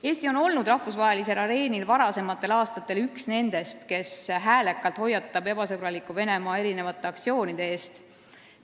Eesti on varasematel aastatel olnud rahvusvahelisel areenil üks nendest, kes häälekalt hoiatab ebasõbraliku Venemaa aktsioonide eest.